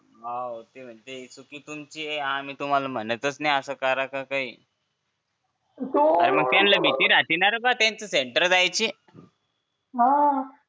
हो ते म्हणतील हे चुकी तुमची आहे आम्ही असं म्हणतच असं का काही तू त्यांना भीती राहते हा त्यांचा सेंटर जायचं हा